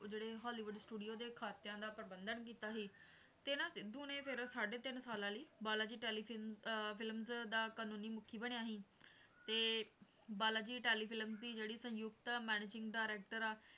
ਜਿਹੜੇ Hollywood studio ਦੇ ਖਾਤਿਆਂ ਦਾ ਪ੍ਰਬੰਧਨ ਕੀਤਾ ਸੀ ਤੇ ਨਾ ਸਿੱਧੂ ਨੇ ਫਿਰ ਸਾਢੇ ਤਿੰਨ ਸਾਲਾਂ ਲਈ ਬਾਲਾ ਜੀ telefilm ਅਹ films ਦਾ ਕਾਨੂੰਨੀ ਮੁੱਖੀ ਬਣਿਆ ਸੀ ਤੇ ਬਾਲਾ ਜੀ telefilm ਦੀ ਜਿਹੜੀ ਸੰਯੁਕਤ managing director ਆ,